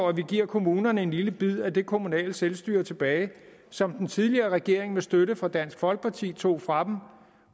at vi giver kommunerne en lille bid af det kommunale selvstyre tilbage som den tidligere regering med støtte fra dansk folkeparti tog fra dem